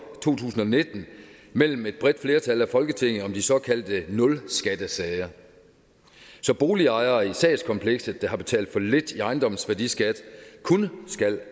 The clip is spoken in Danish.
to tusind og nitten mellem et bredt flertal i folketinget om de såkaldte nul skattesager så boligejere i sagskomplekset der har betalt for lidt i ejendomsværdiskat kun skal